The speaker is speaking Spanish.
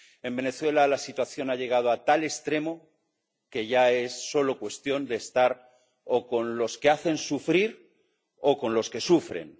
En Venezuela la situación ha llegado a tal extremo que ya es solo cuestión de estar o con los que hacen sufrir o con los que sufren.